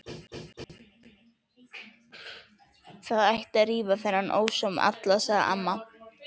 Það ætti að rífa þennan ósóma allan, sagði amma.